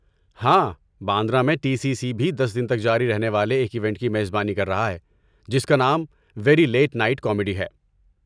ہاں، باندرہ میں T C C بھی دس دن تک جاری رہنے والے ایک ایونٹ کی میزبانی کر رہا ہے جس کا نام 'ویری لیٹ نائٹ کامیڈی' ہے۔